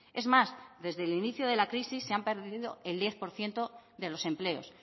es más desde el inicio de la crisis se han perdido el diez por ciento de los empleos